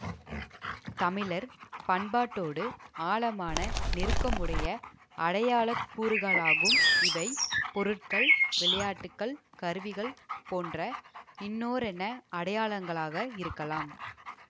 தமிழர் பண்பாட்டோடு ஆழமான நெருக்கமுடைய அடையாளக்கூறுகளாகும் இவை பொருட்கள் விளையாட்டுக்கள் கருவிகள் போன்ற இன்னோரன்ன அடையாளங்களாக இருக்கலாம்